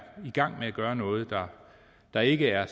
i gang med at gøre noget der ikke er